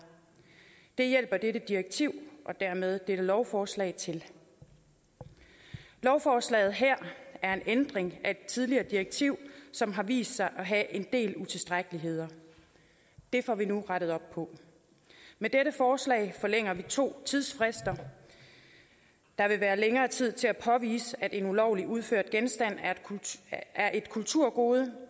det hjælper dette direktiv og dermed dette lovforslag til lovforslaget her er en ændring af et tidligere direktiv som har vist sig at have en del utilstrækkeligheder det får vi nu rettet op på med dette forslag forlænger vi to tidsfrister der vil være længere tid til at påvise at en ulovligt udført genstand er et kulturgode og